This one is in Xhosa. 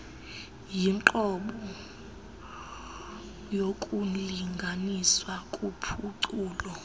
yinqobo yokulinganiswa kuphuculo